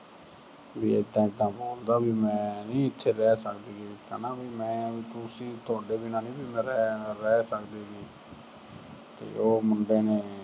ਵੀ ਏਦਾ ਏਦਾ ਬੋਲਦਾ ਵੀ ਮੈਂ ਨੀ ਇੱਥੇ ਰਹਿ ਸਕਦੀ ਹਨਾ ਵੀ ਮੈਂ ਤੁਸੀਂ ਅਹ ਤੁਹਾਡੇ ਬਿਨਾਂ ਨੀ ਵੀ ਮੈਂ ਰਹਿ ਅਹ ਰਹਿ ਸਕਦੀ। ਤੇ ਉਹ ਮੁੰਡੇ ਨੇ